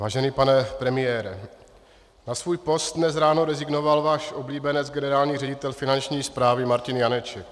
Vážený pane premiére, na svůj post dnes ráno rezignoval váš oblíbenec, generální ředitel Finanční správy Martin Janeček.